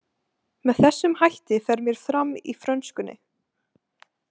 Með þessum hætti fer mér fram í frönskunni.